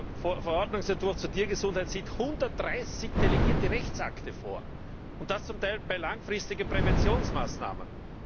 Der Verordnungsentwurf zur Tiergesundheit sieht 130 delegierte Rechtsakte vor, und das zum Teil bei langfristigen Präventionsmaßnahmen!